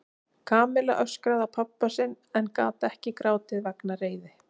Kamilla öskraði á pabba sinn en gat ekki grátið vegna reiði.